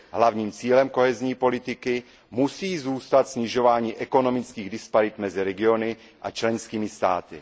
Hlavním cílem politiky soudržnosti musí zůstat snižování ekonomických disparit mezi regiony a členskými státy.